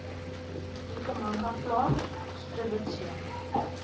ikhamanga plant strelitzia